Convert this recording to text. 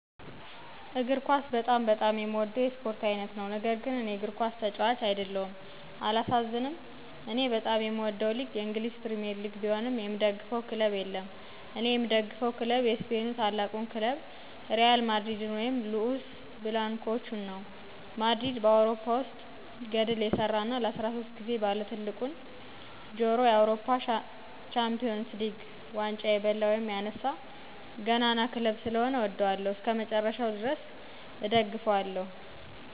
እግር ኳስ በጣም በጣም በጣም የምወደው የስፖርት አይነት ነው። ነገር ግን እኔ እግር ኳስ ተጫዋች አይደለሁም። አላሳዝንም???? እኔ በጣም የምወደው ሊግ የእንግሊዝ ፕሪምየር ሊግ ቢሆንም የምደግፈው ክለብ የለም እኔ የምደግፈው ክለብ የስፔኑ ታላቁን ክለብ ሪያል ማድሪድን ወይም ሉኡስ ብላንኮቹን ነው። ማድሪድ በአውሮፓ ውስጥ ገድል የሠራ እና ለ13 ጊዜ ባለትልቁን ጆሮ የአውሮፓ ቻምፒየንስ ሊግ 🏆 ዋንጫ የበላ/ያነሳ/ ገናና ክለብ ስለሆነ እወደዋለሁ። እስከመጨረሻው ድረስ እደግፈዋለሁ።